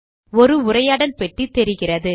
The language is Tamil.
ஒரு உரையாடல் பெட்டி தெரிகிறது